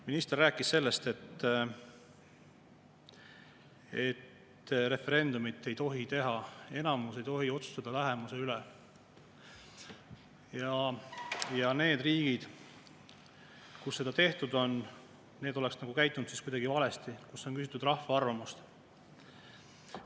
Minister rääkis sellest, et referendumit ei tohi teha, enamus ei tohi otsustada vähemuse üle, ja et need riigid, kus seda tehtud on, on käitunud nagu kuidagi valesti, kuigi seal on küsitud rahva arvamust.